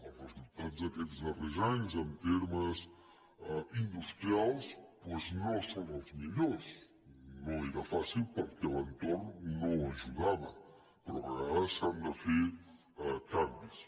els resultats d’aquests dar·rers anys en termes industrials doncs no són els mi·llors no era fàcil perquè l’entorn no ajudava però a vegades s’han de fer canvis